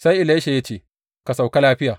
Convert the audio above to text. Sai Elisha ya ce, Ka sauka lafiya.